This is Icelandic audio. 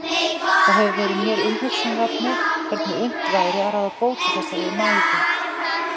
Það hefur verið mér umhugsunarefni hvernig unnt væri að ráða bót á þessari mæðu.